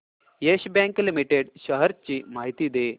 yes Bank limited shares ची माहिती दे